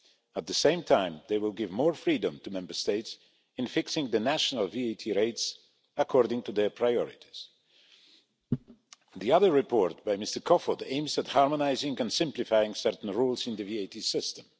At the same time, they will give more freedom to Member States in fixing the national VAT rates according to their priorities. The other report by Mr Kofod aims at harmonising and simplifying certain rules in the VAT system.